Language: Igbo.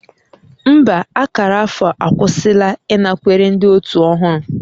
Mba, akara afọ akwụsịla ịnakwere ndị otu ọhụrụ